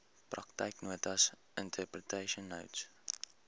praktyknotas interpretation notes